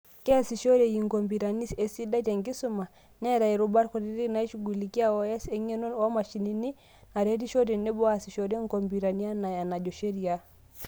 Keasishoreki inkopitani esidai tenkisuma, neeta irubat kutitik naishugulikia O.S, eng'eno oomashinini naretisho, teneboo aasishore inkopitani anaa enajo sheria.